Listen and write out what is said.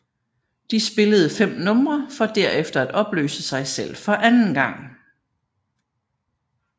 De spillede fem numre for derefter at opløse sig selv for anden gang